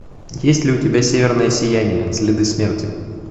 есть ли у тебя северное сияние следы смерти